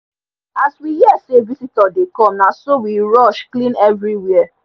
as we hear say visitor dey come na so we rush clean everywhere